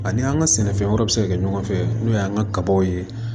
Ani an ka sɛnɛfɛn wɛrɛ bɛ se ka kɛ ɲɔgɔn fɛ n'o y'an ka kabaw ye